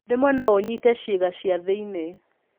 Rĩmwe no ũnyite ciĩga cia thĩ-inĩ.